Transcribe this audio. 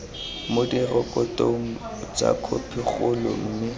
mo direkotong tsa khopikgolo mme